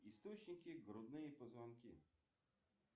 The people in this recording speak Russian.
источники грудные позвонки